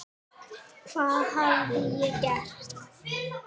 Hvað hafði ég gert?